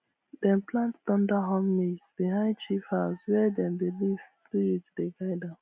dem plant thunder horn maize behind chief house where dem believe spirit dey guard am